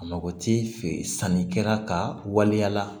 A mako ti fɛ sannikɛla ka waleya la